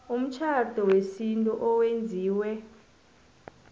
umtjhado wesintu owenziwe